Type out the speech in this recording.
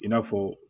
I n'a fɔ